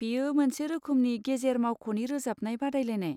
बेयो मोनसे रोखोमनि गेजेर मावख'नि रोजाबनाय बादायलायनाय।